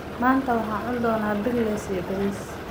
Maanta waxaan cuni doonaa pickles iyo bariis.